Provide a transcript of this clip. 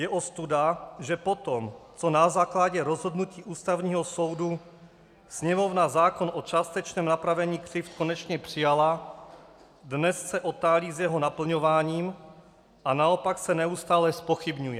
Je ostuda, že potom co na základě rozhodnutí Ústavního soudu Sněmovna zákon o částečném napravení křivd konečně přijala, dnes se otálí s jeho naplňováním a naopak se neustále zpochybňuje.